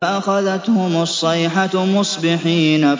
فَأَخَذَتْهُمُ الصَّيْحَةُ مُصْبِحِينَ